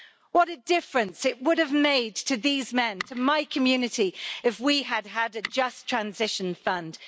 What a difference it would have made to these men, to my community, if we had had a Just Transition Fund.